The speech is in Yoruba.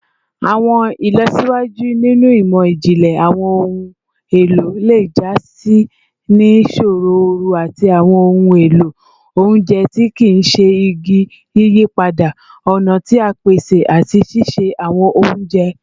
Awọn ilọsiwaju ninu imọ-jinlẹ awọn ohun elo le ja si ni sooro ooru ati awọn ohun elo ounjẹ ti kii ṣe igi, yiyipada ọna ti a pese ati sise awọn ounjẹ